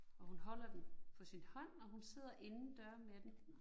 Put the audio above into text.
Og hun holder den på sin hånd, og hun sidder indendøre med den